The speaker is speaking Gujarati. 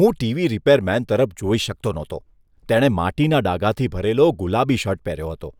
હું ટીવી રિપેર મેન તરફ જોઈ શકતો નહતો. તેણે માટીના ડાઘાથી ભરેલો ગુલાબી શર્ટ પહેર્યો હતો.